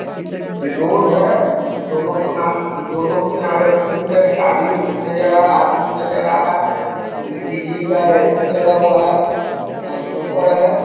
ये रोड है दोनों किनारे दोनों किनारे फूट है गाड़ी नजर आ रहा है आदमी नजर आ रहा है विजली का ए.सी. लगा हुआ है ट्रांसफार्मर लगा हुआ है ।